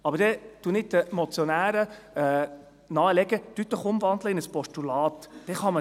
Aber ich würde den Motionären nahelegen, in ein Postulat zu wandeln.